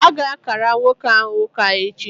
A ga-ákàrà nwoke ahụ ụka echi